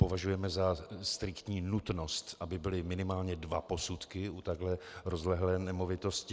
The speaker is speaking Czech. Považujeme za striktní nutnost, aby byly minimálně dva posudky u takhle rozlehlé nemovitosti.